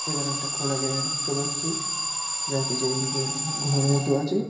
এখানে একটি খোলা জায়গা দেখতে পাচ্ছি যার পিছন দিকে উম ঘর মত আছে ।